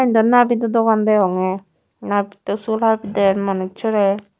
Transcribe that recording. nabido dogan degongey nabitto sul habider manussorey.